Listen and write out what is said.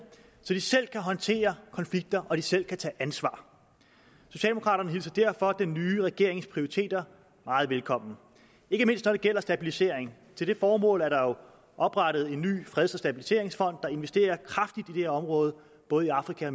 så de selv kan håndtere konflikter og selv tage ansvar socialdemokraterne hilser derfor den nye regerings prioriteter meget velkommen ikke mindst når det gælder stabilisering til det formål er der jo oprettet en ny freds og stabiliseringsfond der investerer kraftigt i område både i afrika og